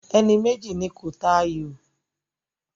Ẹni méjì ni kó ta àyò!